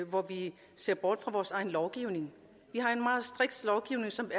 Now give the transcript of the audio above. hvor vi ser bort fra vores egen lovgivning vi har en meget striks lovgivning som